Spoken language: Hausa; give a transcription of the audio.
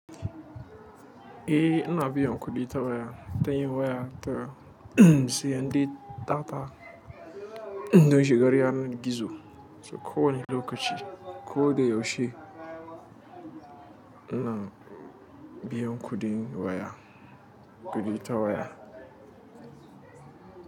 Eh, ina biyan kuɗi ta waya ta yin waya ta siyan data dan shigar yanar gizo. Ko wane lokaci, ko da yaushe ana biyan kuɗin waya, kuɗi ta waya.